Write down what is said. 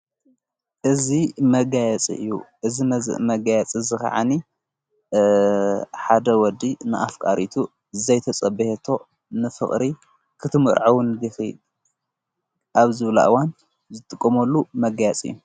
እዝ መጋያጽ እዩ እዝ መዝእ መጋያጽ ዝ ኸዓኒ ሓደ ወዲ ንኣፍ ቃሪቱ ዘይተጸብየቶ ንፍቕሪ ክትምርዐዉን ዲኺድ ኣብ ዝብለእዋን ዘትቆመሉ መጋያጽ እዩ።